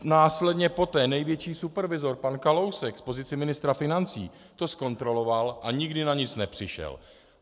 Následně poté největší supervizor pan Kalousek v pozici ministra financí to zkontroloval a nikdy na nic nepřišel.